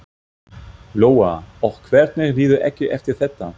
Lóa: Og hvernig líður ykkur eftir þetta?